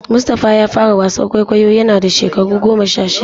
Mustapha ya fara wasan kwaikwayo yana da shekaru goma sha shida.